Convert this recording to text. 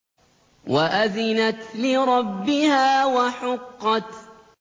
وَأَذِنَتْ لِرَبِّهَا وَحُقَّتْ